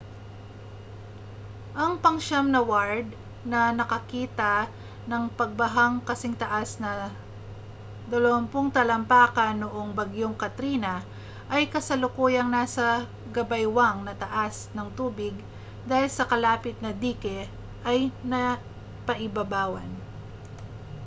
ang pangsiyam na ward na nakakita ng pagbahang kasingtaas ng 20 talampakan noong bagyong katrina ay kasalukuyang nasa gabaywang na taas ng tubig dahil ang kalapit na dike ay napaibabawan